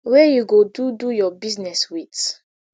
wey you go do do your business wit